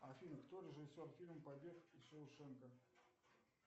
афина кто режиссер фильма побег из шоушенка